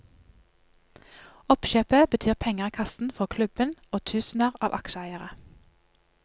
Oppkjøpet betyr penger i kassen for klubben og tusener av aksjeeiere.